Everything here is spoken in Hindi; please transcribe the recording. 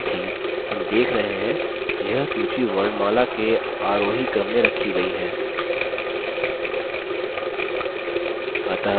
साथ ही हम देख रहे हैं यह सूची वर्णमाला के आरोही क्रम में रखी गयी हैं